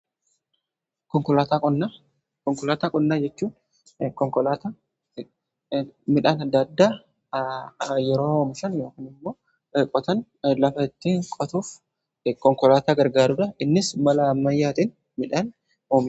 Konkolaataa qonnaa jechuun konkolaataa midhaan adda addaa yeroo oomishan yookaan immoo qotan lafattii qotuuf konkolaataa gargaarudha. Innis mala ammayyaatiin midhaan qota.